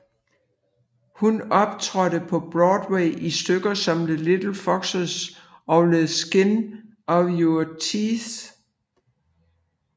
Hun optrådte på Broadway i stykker som The Little Foxes og The Skin of Our Teeth